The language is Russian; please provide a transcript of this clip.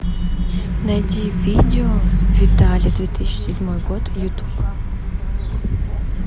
найди видео виталя две тысячи седьмой год ютуб